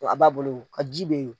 a b'a bolo o ka ji bɛ ye o.